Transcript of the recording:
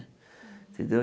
Entendeu?